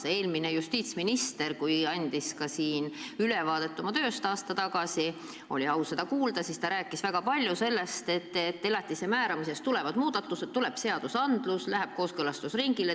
Kui eelmine justiitsminister andis siin aasta tagasi ülevaadet oma tööst – mul oli au seda kuulda –, siis ta rääkis väga palju sellest, et elatisraha määramises tulevad muudatused, tuleb seaduseelnõu, mis läheb kooskõlastusringile.